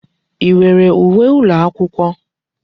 I nwere uwe ụlọakwụkwọ?